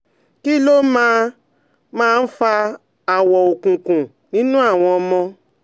Kí ló máa máa ń fa um awọ òkùnkùn nínú àwọn ọmọ?